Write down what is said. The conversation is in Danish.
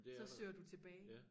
Så søger du tilbage